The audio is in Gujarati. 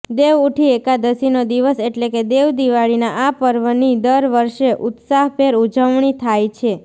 દેવ ઉઠી એકાદશીનો દિવસ એટલે કે દેવદિવાળીનાં આ પર્વની દર વર્ષે ઉત્સાહભેર ઉજવણી થાય છે